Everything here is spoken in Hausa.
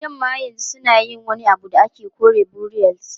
Yamma yanzu suna yin wani abu da ake kira kore burials.